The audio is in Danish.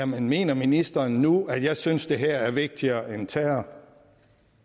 mener ministeren nu at jeg synes at det her er vigtigere end terror